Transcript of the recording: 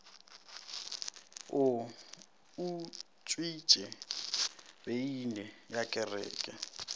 o utswitše beine ya kereke